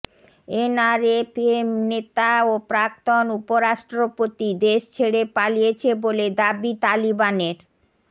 NRFA নেতা ও প্রাক্তন উপ রাষ্ট্রপতি দেশ ছেড়ে পালিয়েছে বলে দাবি তালিবানের